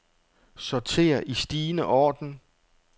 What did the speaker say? Sorter i stigende orden.